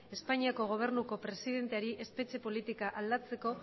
espainiako gobernuko presidenteari espetxe politika aldatzeko